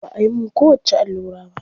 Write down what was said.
Ba ayi mun kowacce allura ba.